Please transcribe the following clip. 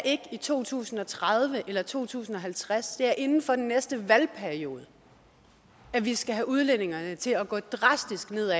i to tusind og tredive eller to tusind og halvtreds det er inden for den næste valgperiode at vi skal have udledningerne til at gå drastisk ned